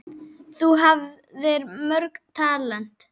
Þú hafðir mörg talent.